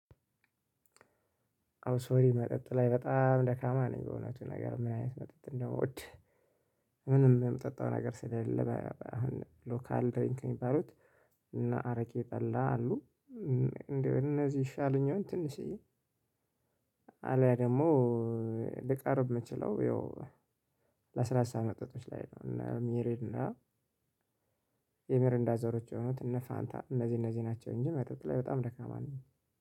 አብሶ እኔ መጠጥ ላይ በጣም ደካማ ነኝ። እውነቱን ለመናገር ምን አይነት መጠጥ እንደምወድ ምንም የምጠጣው ነገር ስለሌለ ሎካል ድሪንኪንግ ካሉት እነ አረቄ ጠላ አሉ። እነዚህ ይሻሉኛል ትንሽዬ አልያም ደግሞ ልቀርብ የምችለው ያው ለስላሳ መጠጦች ላይ ነው። እነ ሚሪንዳ፣ የሚሪንዳ ዘሮች የሆኑት እነ ፋንታ እነዚህ እነዚህ ናቸው እንጂ መጠጥ ላይ በጣም ደካማ ነኝ።